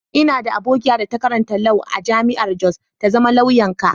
N'na da abokiya da ta karanta Lau a'jami'an Jos. Ta zama lauya'n ka.